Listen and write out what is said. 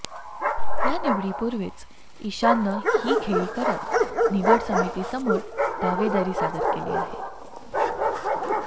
या निवडीपूर्वीच इशाननं ही खेळी करत निवड समितीसमोर दावेदारी सादर केली आहे